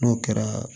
N'o kɛra